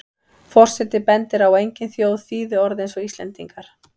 Forseti bendir á að engin þjóð þýði orð eins og Íslendingar.